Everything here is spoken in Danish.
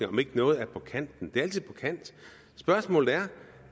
om ikke noget er på kanten det er altid på kanten spørgsmålet er